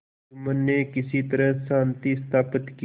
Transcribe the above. जुम्मन ने किसी तरह शांति स्थापित की